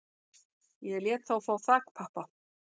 Ég lét þá fá þakpappa